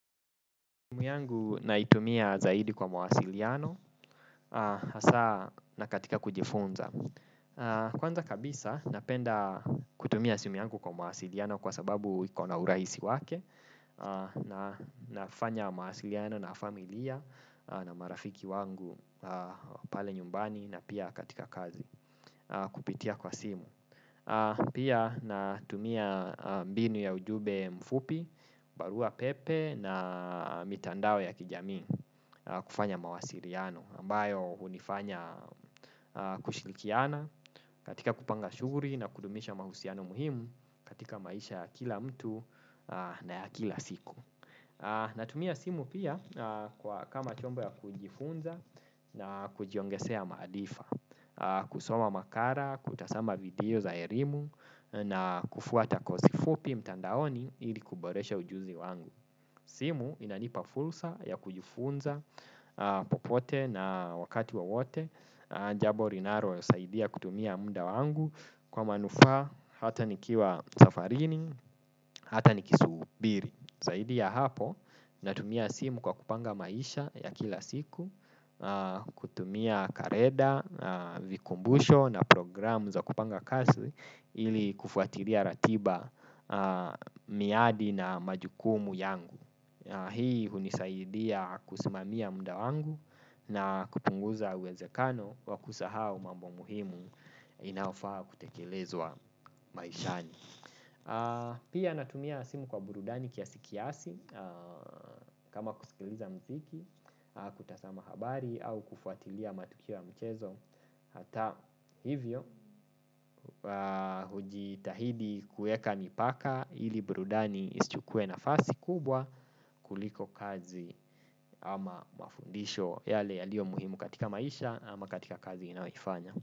Simu yangu naitumia zaidi kwa mawasiliano, haswa na katika kujifunza. Kwanza kabisa napenda kutumia simu yangu kwa mawasiliano kwa sababu ikona urahisi wake. Nafanya mawasiliano na familia na marafiki wangu pale nyumbani na pia katika kazi kupitia kwa simu. Pia natumia mbinu ya ujumbe mfupi, barua pepe na mitandao ya kijamii kufanya mawasiliano ambayo unifanya kushirikiana katika kupanga shuguli na kudumisha mahusiano muhimu katika maisha kila mtu na ya kila siku. Natumia simu pia kama chombo ya kujifunza na kujiongezea maarifa. Kusoma makala, kutazama video za elimu, na kufuata kosi fupi mtandaoni ili kuboresha ujuzi wangu. Simu inanipa fursa ya kujifunza popote na wakati wowote. Jambo linalo nisaidia kutumia muda wangu kwa manufaa hata nikiwa safarini, hata nikisubiri. Zaidi ya hapo natumia simu kwa kupanga maisha ya kila siku. Kutumia kalenda, vikumbusho na programu za kupanga kazi ili kufuatilia ratiba, miadi na majukumu yangu hii hunisaidia kusimamia muda wangu, na kupunguza uwezekano wa kusahau mambo muhimu. Inaofaa kutekelezwa maishani. Pia natumia simu kwa burudani kiasikiasi. Kama kusikiliza mziki, kutazama habari au kufuatilia matukio ya mchezo. Hata hivyo hujitahidi kuweka mipaka ili burudani isichukue nafasi kubwa kuliko kazi ama mafundisho yale yaliyo muhimu katika maisha ama katika kazi inaifanya.